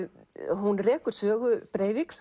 hún rekur sögu